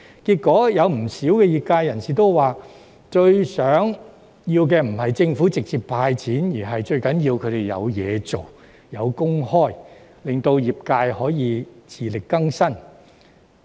結果，不少業界人士指出，最希望政府做的並非直接"派錢"，而是讓他們有工作，能夠維持生計，令業界可以自力更生。